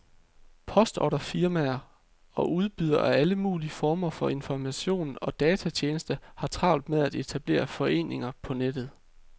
Postordrefirmaer og udbydere af alle mulige former for informationer og datatjenester har travlt med at etablere forretninger på nettet.